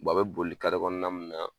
a bɛ boli kɔnɔna min na